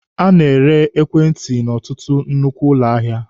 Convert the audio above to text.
A na-ere ekwentị n'ọtụtụ nnukwu ụlọ ahịa.